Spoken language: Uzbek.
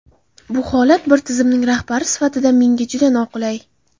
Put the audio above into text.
Bu holat bir tizimning rahbari sifatida menga juda noqulay.